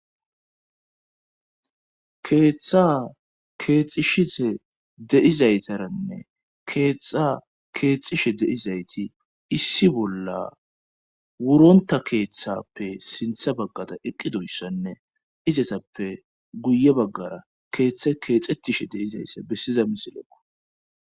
Keetha keexisishe de7izaytaranne keetha keexishe de7izayti issi bolla wurontta keethappe sintha baqqada eqqidoyssanne izatappe guye baggara keethe keexattishe de7izayssa beshiza misilekko.